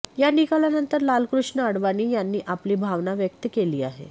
या निकालानंतर लालकृष्ण आडवाणी यांनी आपली भावना व्यक्त केली आहे